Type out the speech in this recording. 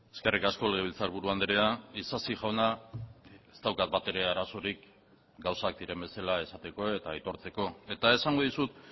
eskerrik asko legebiltzarburu andrea isasi jauna ez daukat batere arazorik gauzak diren bezala esateko eta aitortzeko eta esango dizut